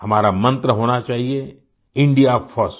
हमारा मंत्र होना चाहिए इंडिया फर्स्ट